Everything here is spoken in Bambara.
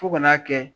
Fo ka n'a kɛ